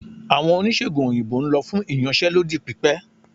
Awọn onisegùn oyinbo n lọ fun íyanse lodí pipẹ